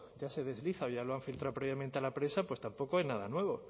ya se desliza o ya lo han filtrado previamente a la prensa tampoco es nada nuevo